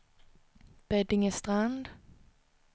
Beddingestrand